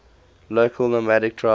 local nomadic tribes